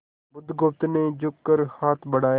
बुधगुप्त ने झुककर हाथ बढ़ाया